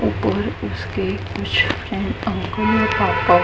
और उसके ऊपर कुछ है आंखों में आ --